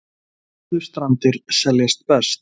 Furðustrandir seljast best